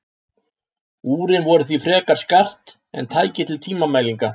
Úrin voru því frekar skart en tæki til tímamælinga.